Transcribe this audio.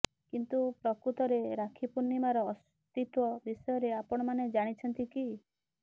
କିନ୍ତୁ ପ୍ରକୃତରେ ରାକ୍ଷୀ ପୂର୍ଣ୍ଣିମାର ଅସ୍ତିତ୍ବ ବିଷୟରେ ଆପଣମାନେ ଜାଣିଛନ୍ତି କି